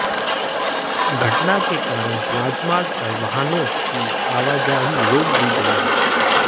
घटना के कारण राजमार्ग पर वाहनों की आवाजाही रोक दी गई है